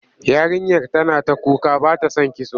Yarinyar tana ta kuka ba ta son kitso.